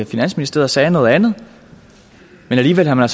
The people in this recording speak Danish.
finansministeriet sagde noget andet men alligevel har